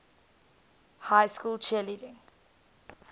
high school cheerleading